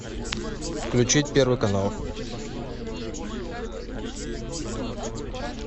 включить первый канал